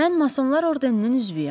Mən Masonlar Ordeninin üzvüyəm.